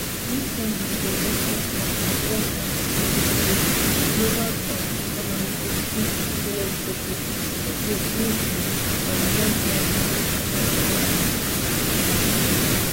dis summit dey also come as world bank predict say di global um economy go see di slowest decade for growth since di um one thousand, nine hundred and sixtys